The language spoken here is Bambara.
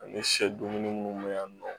Ani sɛ dumuni minnu bɛ yan nɔ